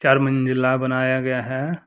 चार मंजिला बनाया गया है।